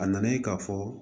A nana ye k'a fɔ